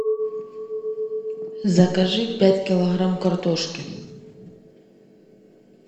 закажи пять килограмм картошки